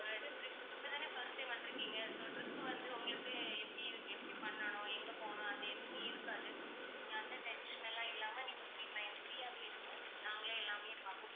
இப்பதானே first time வந்துருக்கீங்க so trip வந்து உங்களுக்கு எப்படி எப்படி பண்ணணும், எங்க போகணும் அந்த எதுவுமே இருக்காது. நீங்க அந்த tension எல்லாம் இல்லாம நீங்க free mind free ஆவே இருங்க. நாங்களே எல்லாமே பார்த்துப்போம்.